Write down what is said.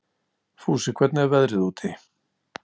Fúsi, hvernig er veðrið úti?